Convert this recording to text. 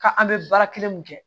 Ka an bɛ baara kelen mun kɛ